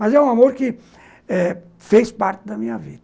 Mas é um amor que eh fez parte da minha vida.